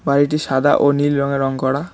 বাড়িটি সাদা ও নীল রঙে রং করা।